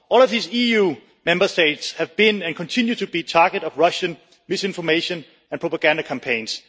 All of these EU member states have been and continue to be the target of Russian misinformation and propaganda campaigns.